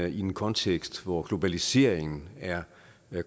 i en kontekst hvor globaliseringen er